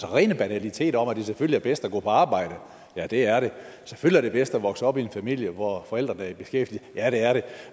rene banaliteter om at det selvfølgelig er bedst at gå på arbejde ja det er det selvfølgelig er det bedst at vokse op i en familie hvor forældrene er i beskæftigelse ja det er det